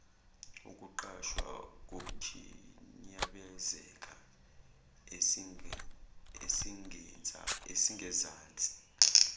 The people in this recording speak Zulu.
ukuqwasha kukhinyabezeke esingezansi